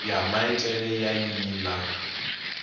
ya mithelo ya nnyi na